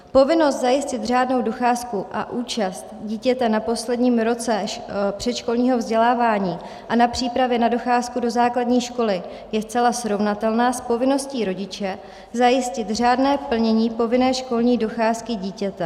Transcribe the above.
Povinnost zajistit řádnou docházku a účast dítěte na posledním roce předškolního vzdělávání a na přípravě na docházku do základní školy je zcela srovnatelná s povinností rodiče zajistit řádné plnění povinné školní docházky dítěte.